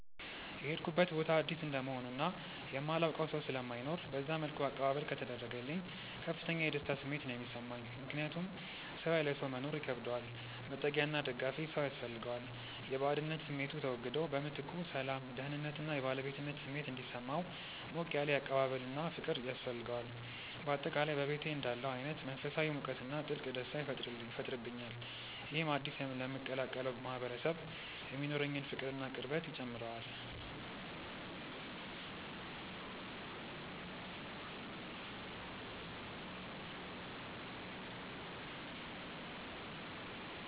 የሄድኩበት ቦታ አዲስ እንደመሆኑ እና የማላውቀው ሰው ስለማይኖር በዛ መልኩ አቀባበል ከተደረገልኝ ከፍተኛ የደስታ ስሜት ነው የሚሰማኝ። ምክንያቱም ሰው ያለ ሰው መኖር ይከብደዋል፤ መጠጊያና ደጋፊ ሰው ያስፈልገዋል። የባዕድነት ስሜቱ ተወግዶ በምትኩ ሰላም፣ ደህንነት እና የባለቤትነት ስሜት እንዲሰማው ሞቅ ያለ አቀባበልና ፍቅር ያስፈልገዋል። በአጠቃላይ በቤቴ እንዳለሁ አይነት መንፈሳዊ ሙቀትና ጥልቅ ደስታ ይፈጥርብኛል። ይህም አዲስ ለምቀላቀለው ማህበረሰብ የሚኖረኝን ፍቅርና ቅርበት ይጨምረዋል።